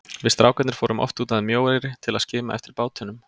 Við strákarnir fórum oft út að Mjóeyri til að skima eftir bátunum.